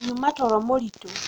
nyuma toro mũritũ